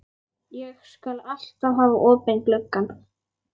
Ég skal alltaf hafa opinn gluggann.